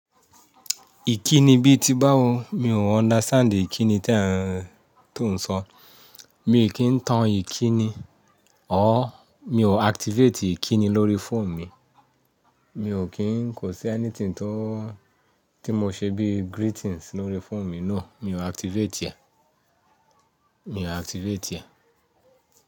Ìkíni bí ti báwo, mi ò understand ìkíni tí à ń tò ń sọ. Mi kí ń tan ìkíni. Ọ̀r, mi ò activate ìkíni lórí phone mi. Mi ò kín kò sí anything tí mo ṣe bí greetings lórí phone mi no mi ò activate ẹ̀.